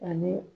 Ani